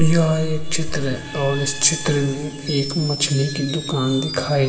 यह एक चित्र है और इस चित्र मे एक मछली की दुकान दिखाई --